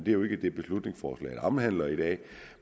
er jo ikke det beslutningsforslaget omhandler i dag